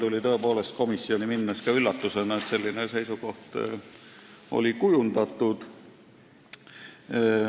Mulle tuli komisjoni minnes üllatusena, et selline seisukoht oli kujundatud.